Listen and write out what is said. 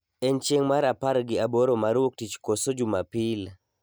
En chieng' mar apar gi aboro mar wuok tich koso jumapil